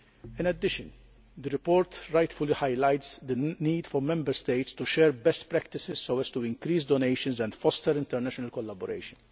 In addition, the report rightly highlights the need for Member States to share best practices so as to increase donations and foster international collaboration.